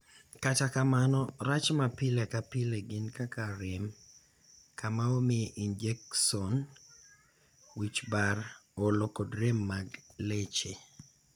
Kata kamano, rach ma pile ka pile gin kaka rem kama omiye injekson, wich bar, olo kod rem mag leche.